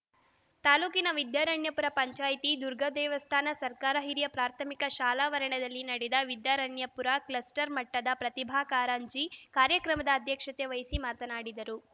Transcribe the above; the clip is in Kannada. ತಾಲೂಕಿನ ವಿದ್ಯಾರಣ್ಯಪುರ ಪಂಚಾಯಿತಿ ದುರ್ಗಾದೇವಸ್ಥಾನ ಸರ್ಕಾರಿ ಹಿರಿಯ ಪ್ರಾಥಮಿಕ ಶಾಲಾವರಣದಲ್ಲಿ ನಡೆದ ವಿದ್ಯಾರಣ್ಯಪುರ ಕ್ಲಸ್ಟರ್‌ ಮಟ್ಟದ ಪ್ರತಿಭಾ ಕಾರಂಜಿ ಕಾರ್ಯಕ್ರಮದ ಅಧ್ಯಕ್ಷತೆ ವಹಿಸಿ ಮಾತನಾಡಿದರು